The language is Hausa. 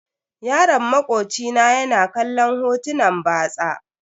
Yaron makoci na ya na kallon hotunan batsa.